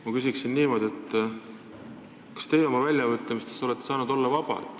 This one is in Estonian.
Ma küsin niimoodi: kas teie olete oma väljaütlemistes saanud vaba olla?